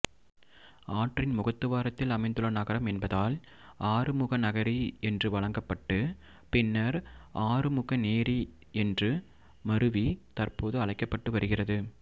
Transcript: ஆற்றின் முகத்துவாரத்தில் அமைந்துள்ள நகரம் என்பதால் ஆறுமுகநகரி என்று வழங்கப்பட்டு பின்னர் ஆறுமுகநேரி என்று மருவி தற்போது அழைக்கப்பட்டு வருகிறது